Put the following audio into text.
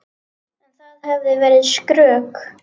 En það hefði verið skrök.